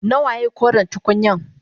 Nawaye koren tukunyan?